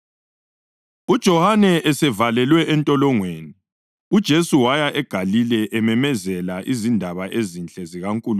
UJohane esevalelwe entolongweni, uJesu waya eGalile ememezela izindaba ezinhle zikaNkulunkulu.